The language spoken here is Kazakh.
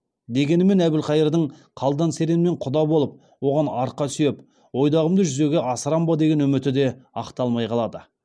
дегенмен әбілқайырдың қалдан серенмен құда болып оған арқа сүйеп ойдағымды жүзеге асырам ба деген үміті де ақталмай қалады